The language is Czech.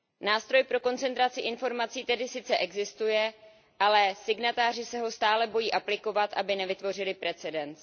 Nástroj pro koncentraci informací tedy sice existuje, ale signatáři se ho stále bojí aplikovat, aby nevytvořili precedens.